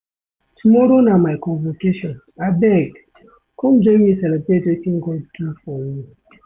Tomorrow na my convocation, abeg come join me celebrate wetin God do for me.